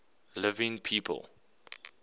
living people